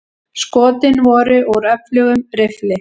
Skotin voru úr öflugum riffli.